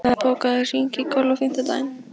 Iða, bókaðu hring í golf á fimmtudaginn.